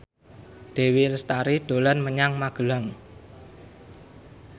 Dewi Lestari dolan menyang Magelang